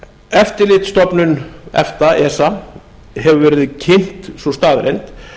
eftirlitsstofnun efta esa hefur verið kynnt sú staðreynd